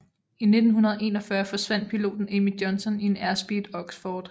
I 1941 forsvandt piloten Amy Johnson i en Airspeed Oxford